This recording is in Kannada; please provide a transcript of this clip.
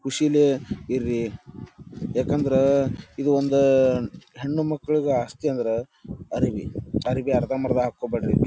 ಖುಷಿಲೇ ಇರ್ರಿ ಯಾಕಂದ್ರಾ ಇದು ಒಂದಾಆ ಹೆಣ್ಣುಮಕ್ಕಳಿಗೆ ಆಸ್ತಿ ಅಂದ್ರ ಅರಿವಿ ಅರಿವಿ ಅರ್ಧಮರ್ಧ ಹಾಕ್ಕೋಂಬ್ಯಾಡ್ರಿ.